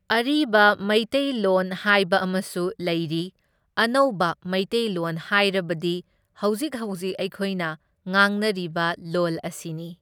ꯑꯔꯤꯕ ꯃꯩꯇꯩꯂꯣꯟ ꯍꯥꯏꯕ ꯑꯃꯁꯨ ꯂꯩꯔꯤ, ꯑꯅꯧꯕ ꯃꯩꯇꯩꯂꯣꯟ ꯍꯥꯏꯔꯕꯗꯤ ꯍꯧꯖꯤꯛ ꯍꯧꯖꯤꯛ ꯑꯩꯈꯣꯏꯅ ꯉꯥꯡꯅꯔꯤꯕ ꯂꯣꯜ ꯑꯁꯤꯅꯤ꯫